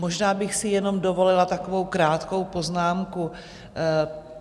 Možná bych si jenom dovolila takovou krátkou poznámku.